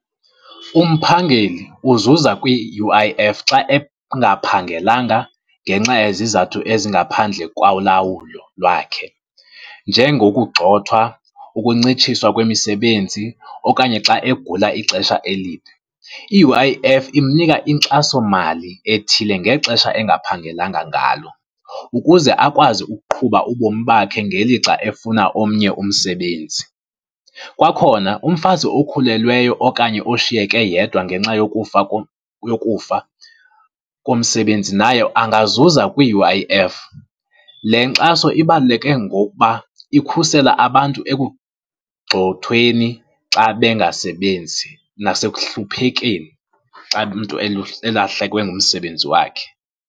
Umphangeleli uzuza kwi-U_I_F xa engaphangelanga ngenxa yezizathu ezingaphandle kwa ulawulo lwakhe njengokugxothwa, ukuncitshiswa kwemisebenzi okanye xa egula ixesha elide. I-U_I_F imnika inkxasomali ethile ngexesha engaphangelanga ngalo ukuze akwazi ukuqhuba ubomi bakhe ngelixa efuna omnye umsebenzi. Kwakhona umfazi okhulelweyo okanye oshiyeke yedwa ngenxa yokufa, yokufa komsebenzi naye angazuza kwi-U_I_F. Le nkxaso ibaluleke ngokuba ikhusela abantu ekugxothweni xa bengasebenzi nasekuhluphekeni xa umntu elahlekwe ngumsebenzi wakhe.